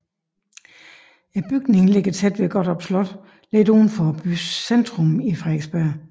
Bygningen ligger tæt ved Gottorp Slot lidt uden for byens centrum i Frederiksberg